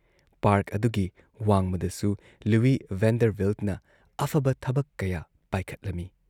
Park ꯑꯗꯨꯒꯤ ꯋꯥꯡꯃꯗꯁꯨ Louis ꯚꯦꯟꯗꯔꯚꯤꯜꯠꯅ ꯑꯐꯕ ꯊꯕ ꯀꯌꯥ ꯄꯥꯏꯈꯠꯂꯝꯏ ꯫